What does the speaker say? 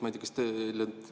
Ja teine küsimus.